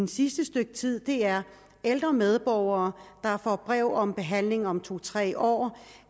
sidste stykke tid er ældre medborgere der får brev om behandling om to tre år